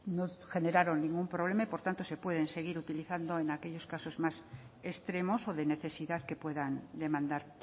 no generaron ningún problema y por tanto se pueden seguir utilizando en aquellos casos más extremos o de necesidad que puedan demandar